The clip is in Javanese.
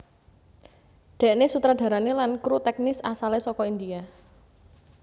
Déné sutradarané lan kru tèknis asalé saka India